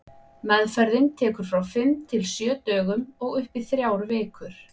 Meðferðin tekur frá fimm til sjö dögum og upp í þrjár vikur.